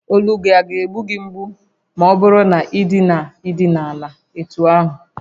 Olu gị ọ̀ ga egbu gị mgbu ma ọ bụrụ na ị na-idina ana etú ahụ?